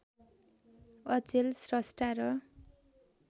अचेल स्रष्टा र